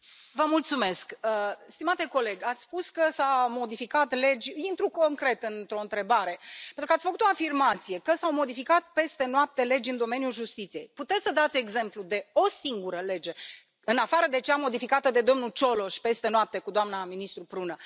Domnule Mureșan, ați spus că s au modificat legi... intru concret într o întrebare. Pentru că ați făcut o afirmație că s au modificat peste noapte legi în domeniul justiției puteți să dați exemplu de o singură lege, în afară de cea modificată de domnul Cioloș peste noapte cu doamna ministru Prună?